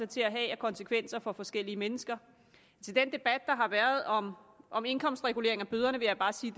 til at have af konsekvenser for forskellige mennesker til den debat der har været om om indkomstregulering af bøderne vil jeg bare sige